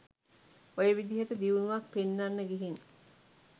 ඔය විදිහට දියුණුවක් පෙන්නන්න ගිහින්